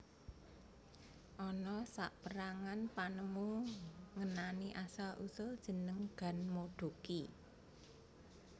Ana saperangan panemu ngenani asal usul jeneng ganmodoki